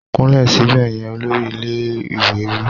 Kúnlẹ̀ síbẹ̀ yẹn! Olórí ilé ìwé wí.